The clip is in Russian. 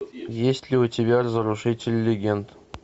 есть ли у тебя разрушители легенд